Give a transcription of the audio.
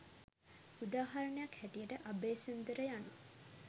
උදාහරණයක් හැටියට අබේසුන්දර යනු